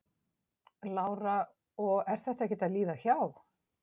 Lára: Og þetta er ekkert að líða hjá?